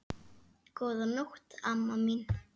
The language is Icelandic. Góða nótt, amma mín.